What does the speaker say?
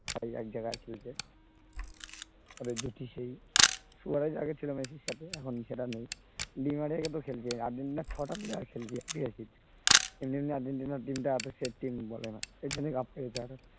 ভাই এক জায়গায় খেলছে ফলে যদি সেই ছিল আগে মেসির সাথে এখন সেটা নেই, নেইমার ও তো খেলছে আর্জেন্টিনার ছটা player খেলছে এমনি এমনি আর্জেন্টিনার team টা set team বলে না সেই জন্যই cup পেয়েছে আরো